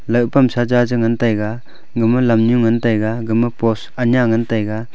loh pamsa cha che ngan taiga gama lamnu ngan taiga gama post aya ngan taiga.